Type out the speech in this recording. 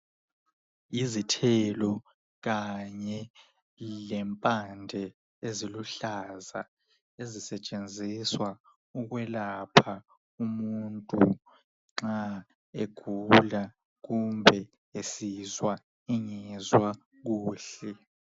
Izithelo kanye lempande eziluhlaza ezisetshenziswa ukwelapha umuntu nxa egula kumbe esizwa engezwa kuhle